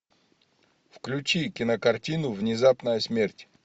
включи кинокартину внезапная смерть